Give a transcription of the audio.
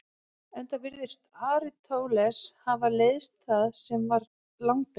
Enda virðist Aristóteles hafa leiðst það sem var langdregið.